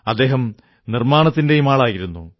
അദ്ദേഹം നിർമ്മാണത്തിന്റെയും ആളായിരുന്നു